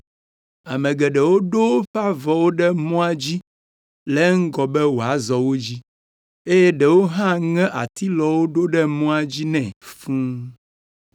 Ame geɖewo ɖo woƒe avɔwo ɖe mɔa dzi le eŋgɔ be wòazɔ wo dzi, eye ɖewo hã ŋe atilɔwo ɖo ɖe mɔa dzi nɛ fũu.